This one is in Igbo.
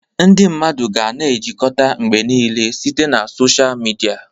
Ndị mmadụ ga-na ejikọta mgbe niile site na sọsha mịdia.